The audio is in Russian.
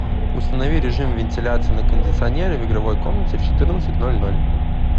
установи режим вентиляции на кондиционере в игровой комнате в четырнадцать ноль ноль